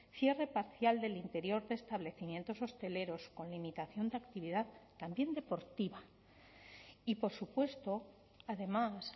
cierre parcial del interior de establecimientos hosteleros con limitación de actividad también deportiva y por supuesto además